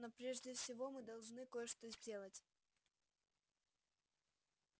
но прежде всего мы должны кое-что сделать